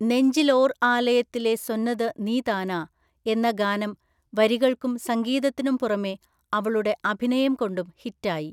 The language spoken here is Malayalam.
നെഞ്ചിൽ ഓർ ആലയത്തിലെ സൊന്നത് നീ താനാ എന്ന ഗാനം വരികൾക്കും സംഗീതത്തിനും പുറമെ അവളുടെ അഭിനയം കൊണ്ടും ഹിറ്റായി.